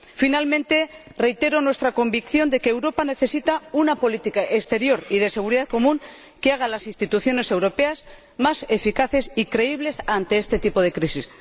Finalmente, reitero nuestra convicción de que Europa necesita una política exterior y de seguridad común que haga a las instituciones europeas más eficaces y creíbles ante este tipo de crisis.